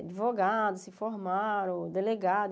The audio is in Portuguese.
Advogados se formaram, delegados.